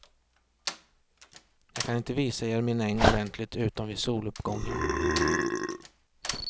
Jag kan inte visa er min äng ordentligt utom vid soluppgången.